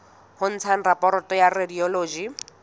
ho ntsha raporoto ya radiology